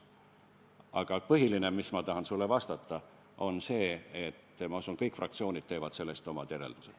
Aga põhiline, mis ma tahan sulle vastata, on see, et ma usun, et kõik fraktsioonid teevad sellest omad järeldused.